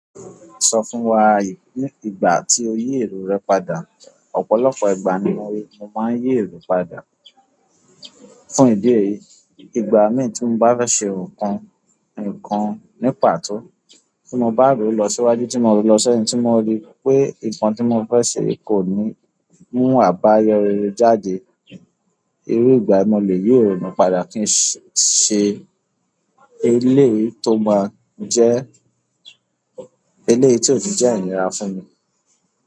Sọ fún wa ìgbà tí o yí èrò rẹ padà. Ọ̀pọ̀lọpọ̀ ìgbà ni mo máa ń yí èrò padà. Fún ìdí èyí, ìgbà mì tí mo bá fẹ́ ṣe nǹkan nì pàtó, tí mo bá roo lọ síwájú, tí mo roo lọ sẹ́yìn, tí mo rí pé nǹkan tí mo fẹ́ ṣe kò ní mú àbáyọ rere jáde, irú ìgbà mo lè yí ironú padà kí n ṣe eleyi tó máa jẹ́ eleyi tí ó ni jẹ́ inira fún mi.